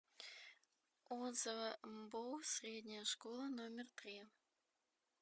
отзывы мбоу средняя школа номер три